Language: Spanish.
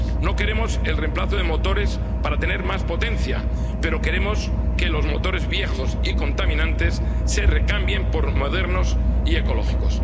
No queremos el reemplazo de motores para tener más potencia, pero queremos que los motores viejos y contaminantes se recambien por otros modernos y ecológicos.